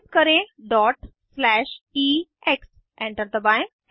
type करें dot slash EX enter दबाएं